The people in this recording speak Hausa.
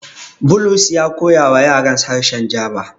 Bulus ya koyawa yarans harshe Jaba.